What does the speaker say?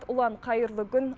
ұлан қайырлы күн